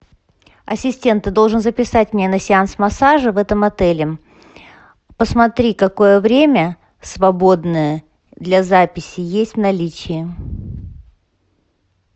ассистент ты должен записать меня на сеанс массажа в этом отеле посмотри какое время свободное для записи есть в наличии